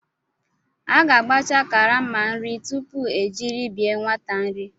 A ga-agbacha karama nri tupu ejiri bye nwate nri.